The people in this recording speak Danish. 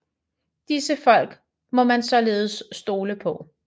Disse folk må man således stole på